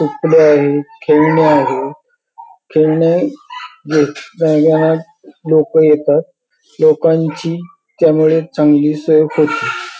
कपडे आहेत खेळणी आहेत खेळणी लोक येतात लोकांची त्यामुळे चांगली सोय होते.